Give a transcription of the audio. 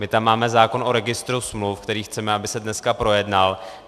My tam máme zákon o registru smluv, který chceme, aby se dneska projednal.